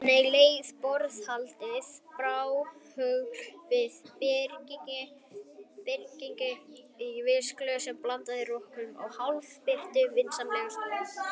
Þannig leið borðhaldið: bárugjálfur við bryggju, rauðvín í glösum, blandað rökkri og hálfbirtu, vinsamleg orð.